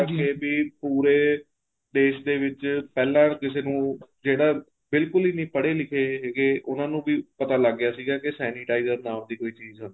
ਕੇ ਵੀ ਪੂਰੇ ਦੇਸ਼ ਦੇ ਵਿੱਚ ਪਹਿਲਾਂ ਕਿਸੇ ਨੂੰ ਜਿਹੜਾ ਬਿਲਕੁਲ ਹੀ ਨਹੀਂ ਪੜੇ ਲਿਖ਼ੇ ਹੈਗੇ ਉਹਨਾ ਨੂੰ ਵੀ ਪਤਾ ਲੱਗ ਗਿਆ ਸੀਗਾ ਕੇ sanitizer ਨਾਮ ਦੀ ਕੋਈ ਚੀਜ਼ ਹੁੰਦੀ ਏ